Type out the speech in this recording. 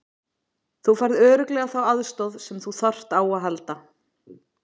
Þú færð örugglega þá aðstoð sem þú þarft á að halda.